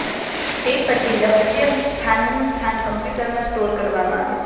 તે પછી લક્ષ્યસ્થાનનું સ્થાન કમ્પ્યુટરમાં સ્ટોર કરવામાં આવે છે